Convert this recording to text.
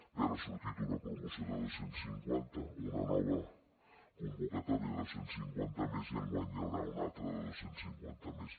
bé ara ha sortit una promoció de dos cents i cinquanta una nova convocatòria de dos cents i cinquanta més i enguany n’hi haurà una altra de dos cents i cinquanta més